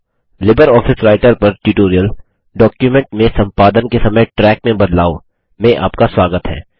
LibreOffice Writer पर tutorial document में संपादन के समय ट्रैक में बदलाव में आपका स्वागत है